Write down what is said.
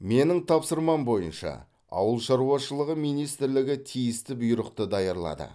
менің тапсырмам бойынша ауыл шаруашылығы министрлігі тиісті бұйрықты даярлады